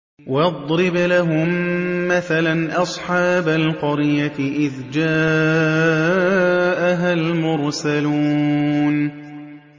وَاضْرِبْ لَهُم مَّثَلًا أَصْحَابَ الْقَرْيَةِ إِذْ جَاءَهَا الْمُرْسَلُونَ